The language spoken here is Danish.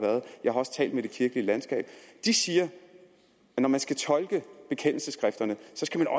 jeg har også talt med det kirkelige landskab og de siger at når man skal tolke bekendelsesskrifterne